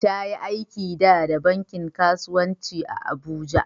Ta yi aiki dah da bankin kasuwanci a'Abuja.